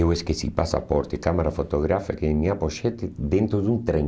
Eu esqueci passaporte, câmera fotográfica e minha pochete dentro de um trem.